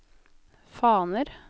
faner